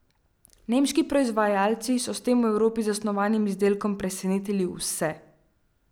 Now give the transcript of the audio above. Nemški proizvajalci so z tem v Evropi zasnovanim izdelkom presenetili vse!